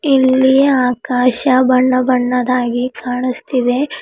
ಇಲ್ಲಿ ಆಕಾಶ ಬಣ್ಣ ಬಣ್ಣದಾಗಿ ಕಾಣಸ್ತಿದೆ.